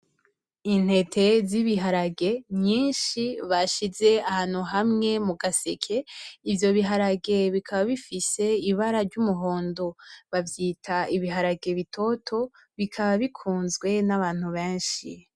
Intete z'ibiharage nyinshi bashize ahantu hamwe mugaseke ivyo biharage bikaba bifise ibara ryumuhondo bavyita ibiharage bitoto bikaba bikunzwe n'abantu benshi .